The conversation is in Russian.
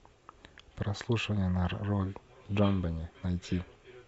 прослушивание на роль джонбенет найти